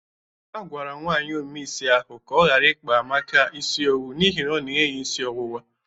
A gwara nwaanyị ome isi ahụ ka ọ gara ikpa Amaka isi owu n'ihi ọ na-enye ya isi ọwụwa.